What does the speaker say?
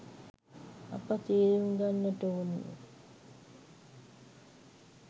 අප තේරුම් ගන්නට ඕනේ.